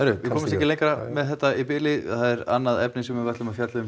ekki lengra með þetta í bili það er annað efni sem við ætlum að fjalla um